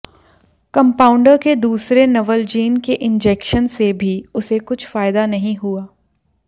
compounder के दूसरे Novalgin के इंजेक्शन से भी उसे कुछ फायदा नहीं हुआ